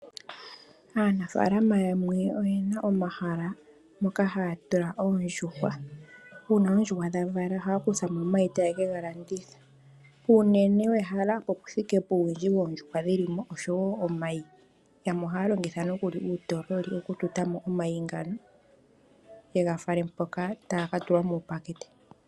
Aanafalama yamwe oyena omahala moka haya tula oondjuhwa. Uuna oondjuhwa dhavala ohaya kuthamo omayi, opo yeke ga landithepo. Uunene wehala owuthike puuwindji woondjuhwa dhilimo, oshowo omayi. Yamwe ohaya longitha uutololi okututamo omayi ngono, yega fale hoka taga katulwa muupakete.